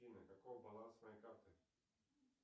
афина каков баланс моей карты